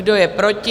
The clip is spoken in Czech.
Kdo je proti?